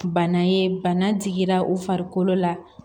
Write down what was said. Bana ye bana digira u farikolo la